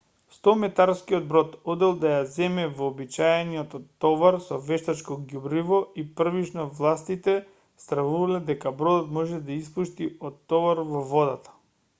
100-метарскиот брод одел да ја земе вообичаениот товар со вештачко ѓубриво и првично властите стравувале дека бродот може да испушти од товарот во водата